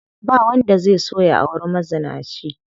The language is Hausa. Ba wanda zai so ya auri mazinaci.